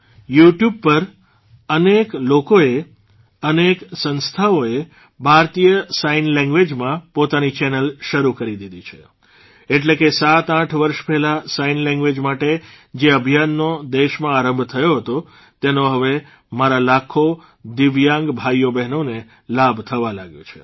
you tube પર અનેક લોકોએ અનેક સંસ્થાઓએ ભારતીય સાઇન લેંગ્વેઝમાં પોતાની ચેનલ શરૂ કરી દીધી છે એટલે કે સાતઆઠ વર્ષ પહેલાં સાઇન લેંગ્વેઝ માટે જે અભિયાનનો દેશમાં આરંભ થયો હતો તેનો હવે મારા લાખો દિવ્યાંગ ભાઇઓબહેનોને લાભ થવા લાગ્યો છે